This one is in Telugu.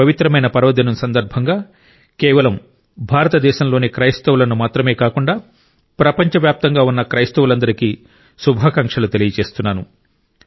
ఈ పవిత్రమైన పర్వదిన సందర్భంగా కేవలం భారతదేశంలోని క్రైస్తవులను మాత్రమే కాకుండా ప్రపంచవ్యాప్తంగా ఉన్న క్రైస్తవులందరికీ శుభాకాంక్షలు తెలియజేస్తున్నాను